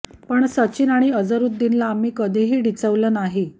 पण सचिन आणि अझरूद्दीनला आम्ही कधीही डिवचलं नाही